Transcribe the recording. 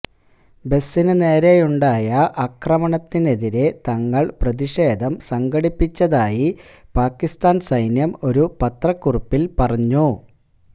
ബസിന് നേരെയുണ്ടായ ആക്രമണത്തിനെതിരെ തങ്ങള് പ്രതിഷേധം സംഘടിപ്പിച്ചതായി പാകിസ്ഥാന് സൈന്യം ഒരു പത്രക്കുറിപ്പില് പറഞ്ഞു